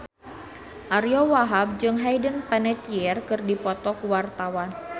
Ariyo Wahab jeung Hayden Panettiere keur dipoto ku wartawan